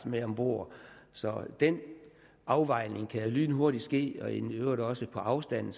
med ombord så den afvejning kan lynhurtigt ske og i øvrigt også på afstand